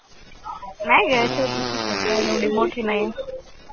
नाही गं छोटीशीचं आहे, काय एवढी मोठी नाही